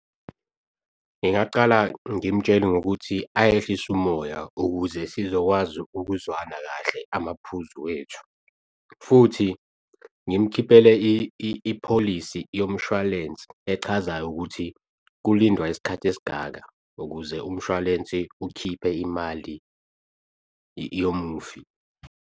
Ngingacala, ngimtshele ngokuthi ayehlise umoya ukuze sizokwazi ukuzwana kahle amaphuzu wethu. Futhi ngimukhiphele ipholisi yomshwalense echazayo ukuthi kulindwa isikhathi esingaka ukuze umshwalense ukhiphe imali yomufi.